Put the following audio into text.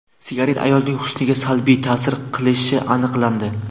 Sigaret ayolning husniga salbiy ta’sir qilishi aniqlandi.